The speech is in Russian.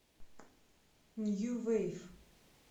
нью вейв